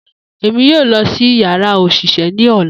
Emi yoo lọ si yara oṣiṣẹ ni ọla.